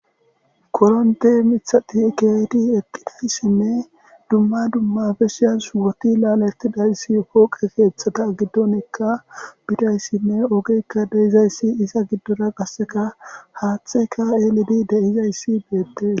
Korintte miithati keehidi eqqida issinne, dumma dumma tsatsetida shubati lalettida issinne keethata giddonikka poqqe oyqqidi diza issane iza giddora qassika haathayika elidi de'aysi bettees.